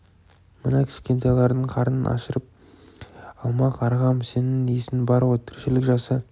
мына кішкентайлардың қарнын ашырып алма қарғам сенің есің бар ғой тіршілік жаса